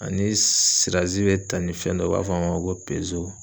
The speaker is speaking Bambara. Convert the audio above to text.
Ani be ta ni fɛn dɔ ye ,u b'a fɔ a ma ko